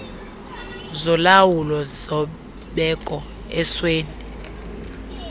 zolawulo zobeko esweni